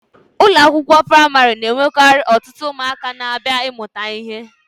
Ụlọ akwụkwọ praịmarị na-enwekarị ọtụtụ ụmụaka na-abịa ịmụta ihe.